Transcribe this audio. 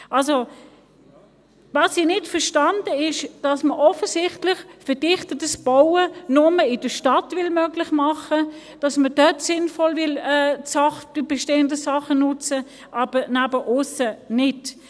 Also: Was ich nicht verstehe, ist, dass man offensichtlich verdichtetes Bauen nur in der Stadt möglich machen will, dass man dort sinnvoll bestehende Sachen nutzen will, aber bei abseits liegendem nicht.